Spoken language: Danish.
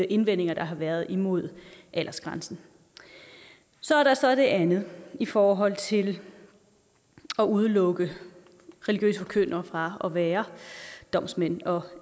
indvendinger der har været imod aldersgrænsen så er der så det andet i forhold til at udelukke religiøse forkyndere fra at være domsmænd og